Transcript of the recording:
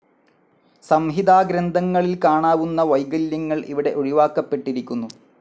സംഹിതാഗ്രന്ഥങ്ങളിൽ കാണാവുന്ന വൈകല്യങ്ങൾ ഇവിടെ ഒഴിവാക്കപ്പെട്ടിരിക്കുന്നു.